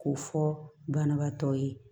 K'o fɔ banabaatɔ ye